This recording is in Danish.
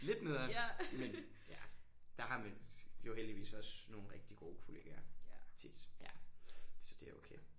Lidt nederen men ja der har man jo heldigvis også nogle rigtig gode kollegaer tit så det er okay